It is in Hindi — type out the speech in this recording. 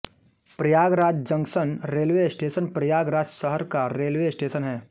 Prayagraj junction railway station Prayagraj शहर का रेलवे स्टेशन है